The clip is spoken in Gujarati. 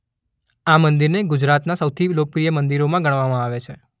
આ મંદિરને ગુજરાતનાં સૌથી લોકપ્રિય મંદિરોમાં ગણવામાં આવે છે.